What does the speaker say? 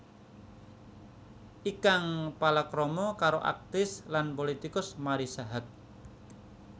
Ikang palakrama karo aktris lan pulitikus Marissa Haque